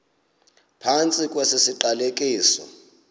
phantsi kwesi siqalekiso